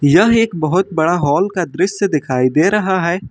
यह एक बहोत बड़ा हॉल का दृश्य दिखाई दे रहा है।